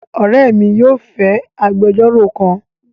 Ore mi yóò fẹ agbejoro kan